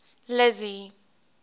lizzy